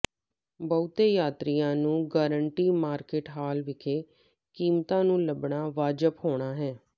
ਬਹੁਤੇ ਯਾਤਰੀਆਂ ਨੂੰ ਗਾਰੰਟੀ ਮਾਰਕੀਟ ਹਾਲ ਵਿਖੇ ਕੀਮਤਾਂ ਨੂੰ ਲੱਭਣਾ ਵਾਜਬ ਹੋਣਾ ਹੈ